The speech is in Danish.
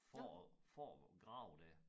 For at for at grave dér